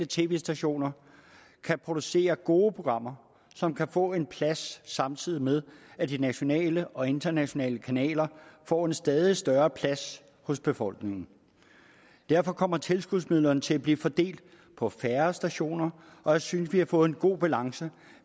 tv stationer kan producere gode programmer som kan få en plads samtidig med at de nationale og internationale kanaler får en stadig større plads hos befolkningen derfor kommer tilskudsmidlerne til at blive fordelt på færre stationer og jeg synes vi har fået en god balance